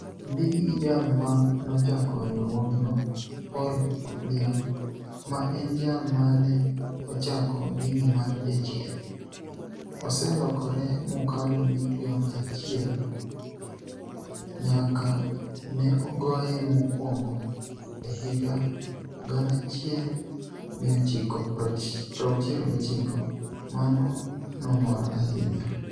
Onidik gi jal ma nochako riwruogno Poul Willium, ma eni jal ma ni e ochako dini mar jachieni, oselokore mokalo milioni achiel niyaka ni e goye mokwonigo e higa 1969. Mano nomora ahiniya.